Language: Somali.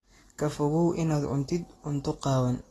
Ka fogow inaad cuntid cunto qaawan.